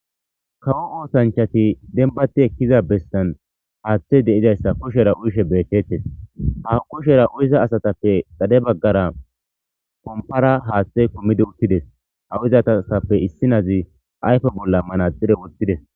Kawo motanchchantti dembbatti ekkuza bessan haththay de'izayssa kushshera kushe milecettes. Ha kushshiya miciya asatappe dhade baggara dhomphphara haththay kumidi uttides. Ha uyida asatappe issinazi ayffen bolla manaxire woththides.